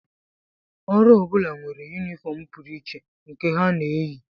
Ọrụ ọ bụla nwere yunifọm pụrụ iche nke ha na-eyi